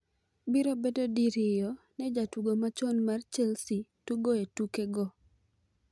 Biro bedo diriyo ne jatugo machon mar Chelsea tugo e tukego.